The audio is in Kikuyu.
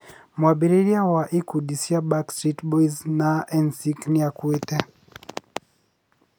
Mwambĩrĩria wa ikundi cia Backstreet Boys na NSYnc nĩ akuĩte